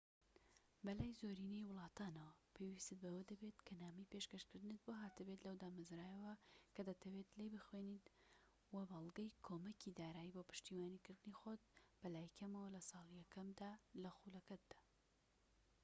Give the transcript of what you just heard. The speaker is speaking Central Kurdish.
بەلای زۆرینەی وڵاتانەوە پێوستت بەوە دەبێت کە نامەی پێشکەشکردنت بۆ هاتبێت لەو دامەزراوەیەوە کە دەتەوێت لێی بخوێنیت وە بەڵگەی کۆمەکی دارایی بۆ پشتیوانیکردنی خۆت بەلای کەمەوە لە ساڵی یەکەمدا لە خولەکەتدا